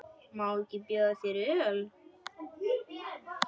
Má ekki bjóða þér öl?